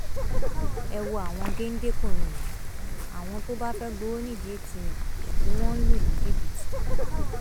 ẹ wo àwọn géńdékùnrin yìí àwọn tó bá fẹẹ gbowó nídìí atm ni wọn ń lù ní jìbìtì